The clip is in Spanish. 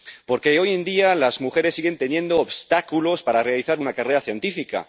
Porque hoy en día las mujeres siguen teniendo obstáculos para realizar una carrera científica.